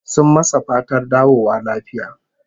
Sun masa fatar dawowa lafiya